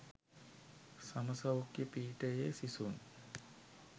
සම සෞඛ්‍ය පීඨයේ සිසුන්